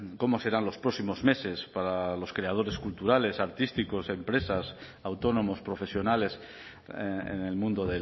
cómo serán los próximos meses para los creadores culturales artísticos empresas autónomos profesionales en el mundo